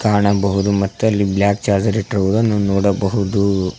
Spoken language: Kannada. ಕಾಣಬಹುದು ಮತ್ತು ಅಲ್ಲಿ ಬ್ಲಾಕ್ ಚಾರ್ಜರ್ ಇಟ್ಟಿರುದನ್ನು ನೋಡಬಹುದು.